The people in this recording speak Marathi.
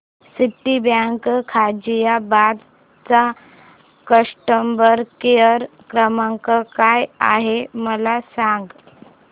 सिटीबँक गाझियाबाद चा कस्टमर केयर क्रमांक काय आहे मला सांग